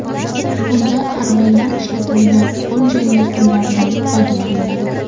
Unda harbiylar ishlatadigan qo‘l jangi usullaridan foydalaniladi.